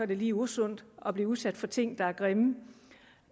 det lige usundt at blive udsat for ting der er grimme